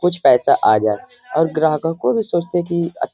कुछ पैसा आ जाए और ग्राहकों को भी सोचते कि अ --